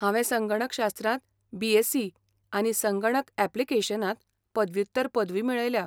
हांवें संगणक शास्त्रांत बी.एससी आनी संगणक यॅप्लिकेशनांत पदव्युत्तर पदवी मेळयल्या.